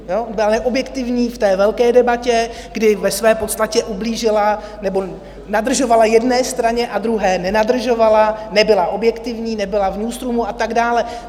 Byla neobjektivní v té velké debatě, kdy ve své podstatě ublížila nebo nadržovala jedné straně a druhé nenadržovala, nebyla objektivní, nebyla v newsroomu a tak dále.